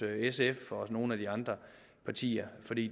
sf og hos nogle af de andre partier for det